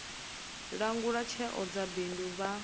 langula tsheo dza bindu vha